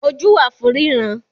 Ojú wà fún ríran